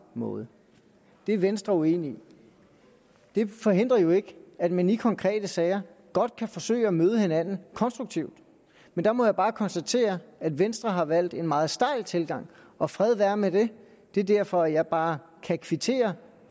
måde det er venstre uenig i det forhindrer jo ikke at man i konkrete sager godt kan forsøge at møde hinanden konstruktivt men der må jeg bare konstatere at venstre har valgt en meget stejl tilgang og fred være med det det er derfor at jeg bare kan kvittere